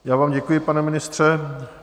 Já vám děkuji, pane ministře.